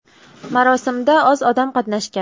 Marosimda oz odam qatnashgan.